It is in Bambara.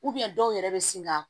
dɔw yɛrɛ bɛ sin ka